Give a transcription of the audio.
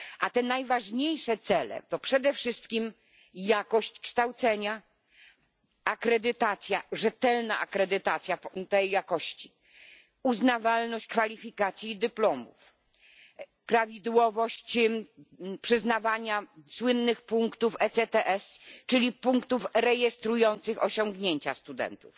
Te najważniejsze cele to przede wszystkim jakość kształcenia, rzetelna akredytacja jakości, uznawalność kwalifikacji i dyplomów, prawidłowość przyznawania słynnych punktów ECTS, czyli punktów rejestrujących osiągnięcia studentów,